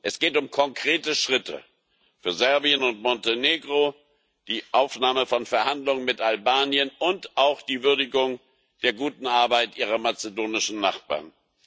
Es geht um konkrete Schritte für Serbien und Montenegro, die Aufnahme von Verhandlungen mit Albanien und auch die Würdigung der guten Arbeit Ihrer mazedonischen Nachbarn.